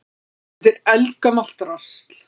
Þetta er eldgamalt drasl.